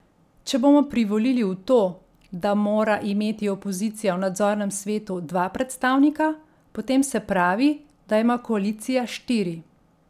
Če bomo privolili v to, da mora imeti opozicija v nadzornem svetu dva predstavnika, potem se pravi, da ima koalicija štiri.